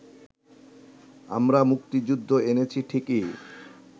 আমরা মুক্তিযুদ্ধ এনেছি ঠিকই